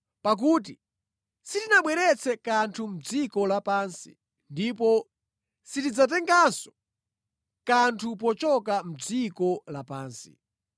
Pakuti sitinabweretse kanthu mʼdziko lapansi, ndipo sitingatengenso kanthu pochoka mʼdziko lapansi.